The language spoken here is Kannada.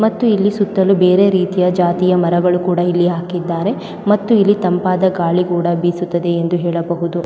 ಮತ್ತು ಇಲ್ಲಿ ಸುತ್ತಲೂ ಬೇರೆಯ ರೀತಿಯ ಜಾತಿಯ ಮರಗಳನ್ನು ಕೂಡ ಇಲ್ಲಿ ಹಾಕಿದ್ದಾರೆ ಮತ್ತು ಇಲ್ಲಿ ತಂಪಾದ ಗಾಳಿ ಕೂಡ ಬೀಸುತ್ತದೆ ಎಂದು ಹೇಳಬಹುದು .